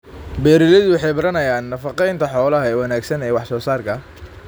Beeraleydu waxay baranayaan nafaqeynta xoolaha ee wanaagsan ee wax soo saarka.